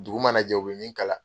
Dugu mana jɛ u bɛ min kala.